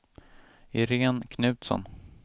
Iréne Knutsson